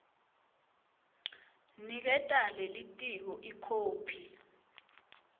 niketa lelitiko ikhophi